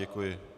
Děkuji.